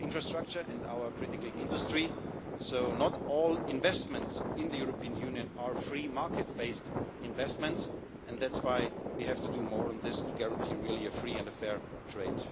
infrastructure and our critical industry, so not all investments in the European Union are free market based investments, and that's why we have to do more on this to guarantee really free and fair